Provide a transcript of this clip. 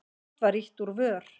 Samt var ýtt úr vör.